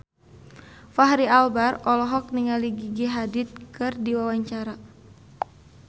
Fachri Albar olohok ningali Gigi Hadid keur diwawancara